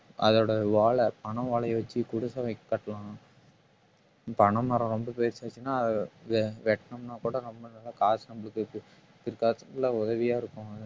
அதோட ஓலை பனை ஓலையை வச்சு குடிசை வே~ கட்டலாம் பனைமரம் ரொம்ப பெருசாச்சுனா அது வெட்டணும்னா கூட நம்ம காசு நம்மளுக்கு பிற்காலத்துல உதவியா இருக்கும்